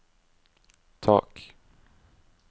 tak